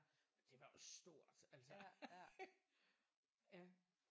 Og det var også stort altså ja